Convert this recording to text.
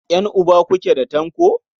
Ƴan'uba kuke da Tanko?